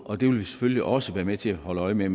og vi vil selvfølgelig også være med til at holde øje med at